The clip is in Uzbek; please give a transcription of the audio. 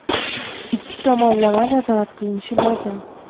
Ikki tomonlama nazorat qilinishi lozim.